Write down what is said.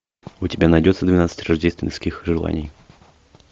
у тебя найдется двенадцать рождественских желаний